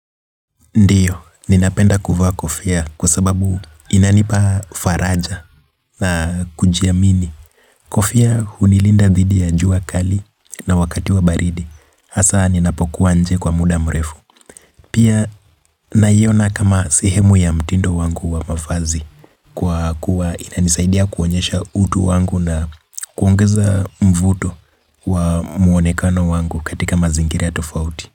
Ndiyo, ninapenda kuvaa kofia kwa sababu inanipa faraja na kujiamini. Kofia hunilinda dhidi ya jua kali na wakati wa baridi. Hasa ninapo kuwa inje kwa muda mrefu. Pia, na iona kama sehemu ya mtindo wangu wa mavazi. Kwa kuwa inanisaidia kuonyesha utu wangu na kuongeza mvuto wa muonekano wangu katika mazingira ya tofauti.